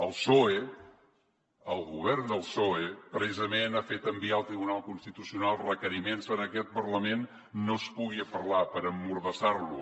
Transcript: el psoe el govern del psoe precisament ha fet enviar al tribunal constitucional requeriments perquè en aquest parlament no es pugui parlar per emmordassar lo